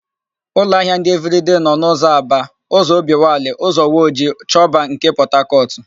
Ụlọahịa ndị Evịrịdei nọ: n'ụzọ Aba, ụzọ Obiwalị, ụzọ Woji, Choba nke Pọtakọtụ.